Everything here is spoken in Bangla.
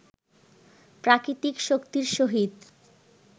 প্রাকৃতিক শক্তির সহিত